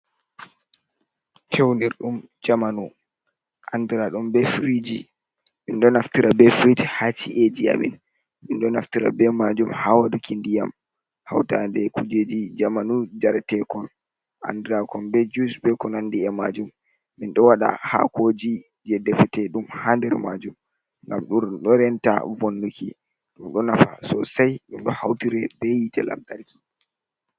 Fewnirɗum jamanu andra ɗum ɓe firiji min ɗo naftira ɓe frij ha chi’eji amin min ɗo naftira ɓe majum ha waɗuki ndiyam hautaɗe kujeji jamanu jaratekon andrakon be jus ɓe ko nandi e majum, min ɗo waɗa hakoji je ɗefete ɗum ha nder majum gam dur do renta vonnuki ɗum ɗo naftira sosai ɗum ɗo hautiri ɓe hite lamtarki.